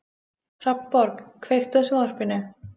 Hrafnborg, kveiktu á sjónvarpinu.